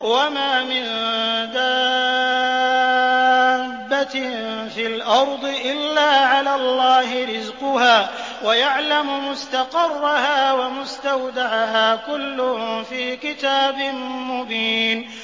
۞ وَمَا مِن دَابَّةٍ فِي الْأَرْضِ إِلَّا عَلَى اللَّهِ رِزْقُهَا وَيَعْلَمُ مُسْتَقَرَّهَا وَمُسْتَوْدَعَهَا ۚ كُلٌّ فِي كِتَابٍ مُّبِينٍ